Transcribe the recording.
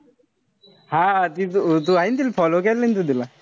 हा ती तू हाये ना तिला follow केलं ना तू तिला.